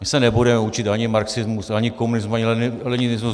My se nebudeme učit ani marxismus, ani komunismus, ani leninismus.